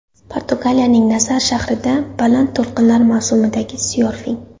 Portugaliyaning Nazar shahrida baland to‘lqinlar mavsumidagi syorfing.